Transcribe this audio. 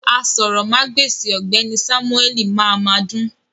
Àsòrọmagbesi ọgbẹni Samueli máa máa dùn.